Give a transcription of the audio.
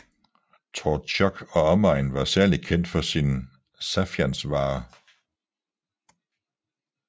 Torzjok og omegn var særlig kendt for sine saffiansvarer